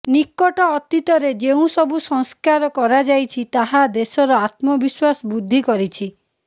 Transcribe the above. ନିକଟ ଅତୀତରେ ଯେଉଁ ସବୁ ସଂସ୍କାର କରାଯାଇଛି ତାହା ଦେଶର ଆତ୍ମବିଶ୍ବାସ ବୃଦ୍ଧି କରିଛି